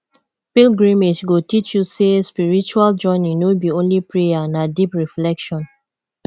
pilgrimage go teach you say spiritual journey no be only prayer na deep reflection